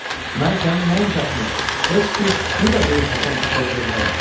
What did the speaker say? Mən sənin nəinki atını, heç bir tükünü də qıyıb Həsən Paşaya vermərəm.